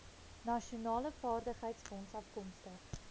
nasionale vaardigheidsfonds afkomstig